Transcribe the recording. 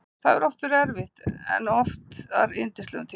Það hefur oft verið erfitt en oftar yndislegur tími.